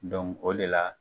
o de la.